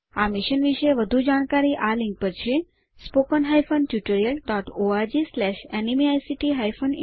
આ મિશન વિશે વધુ જાણકારી આ લિંક httpspoken tutorialorgNMEICT Intro ઉપર ઉપલબ્ધ છે